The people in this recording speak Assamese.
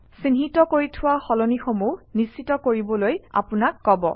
চিহ্নিত কৰি থোৱা সলনিসমূহ নিশ্চিত কৰিবলৈ আপোনাক কব